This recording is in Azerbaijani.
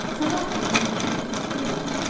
Sabah tezdən durub yol başladılar.